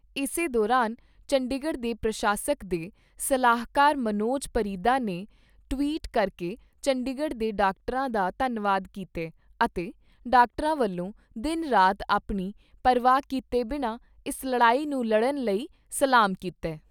ਇਸੇ ਦੌਰਾਨ ਚੰਡੀਗੜ੍ਹ ਦੇ ਪ੍ਰਸ਼ਾਸਕ ਦੇ ਸਲਾਹਕਾਰ ਮਨੋਜ ਪਰਿਦਾ ਨੇ ਟਵੀਟ ਕਰਕੇ ਚੰਡੀਗੜ੍ਹ ਦੇ ਡਾਕਟਰਾਂ ਦਾ ਧੰਨਵਾਦ ਕੀਤਾ ਅਤੇ ਡਾਕਟਰਾਂ ਵੱਲੋਂ ਦਿਨ ਰਾਤ ਆਪਣੀ ਪਰਵਾਹ ਕੀਤੇ ਬਿਨਾਂ ਇਸ ਲੜਾਈ ਨੂੰ ਲੜਨ ਲਈ ਸਲਾਮ ਕੀਤਾ ।